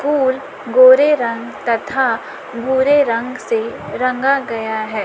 उल गोरे रंग तथा भूरे रंग से रंगा गया है।